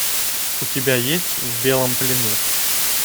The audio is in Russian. у тебя есть в белом плену